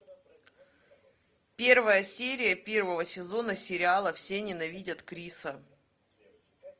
первая серия первого сезона сериала все ненавидят криса